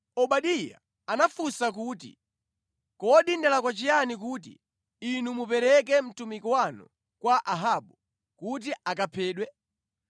Obadiya anafunsa kuti, “Kodi ndalakwa chiyani kuti inu mupereke mtumiki wanu kwa Ahabu kuti akaphedwe?